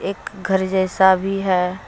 एक घर जैसा भी है।